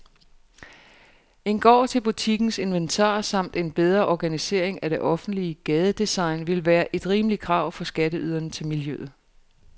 En gård til butikkens inventar samt en bedre organisering af det offentlige gadedesign ville være et rimeligt krav fra skatteyderne til miljøet.